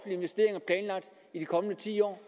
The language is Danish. investeringer i de kommende ti år